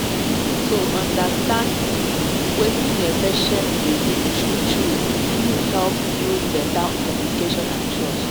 to understand wetin a patient believe true-true e fit help build better communication and trust.